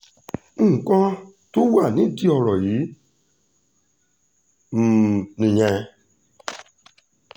nǹkan tó wà nídìí ọ̀rọ̀ um yìí nìyẹn